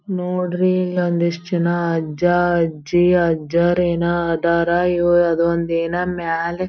ನೋಡ್ರಿ ಒಂದಿಷ್ಟ್ ಜನ ಅಜ್ಜ ಅಜ್ಜಿ ಅಜ್ಜರ್ ಏನ ಅದರ ಇವ ಅದೊಂದು ಏನ ಮೇಲೆ --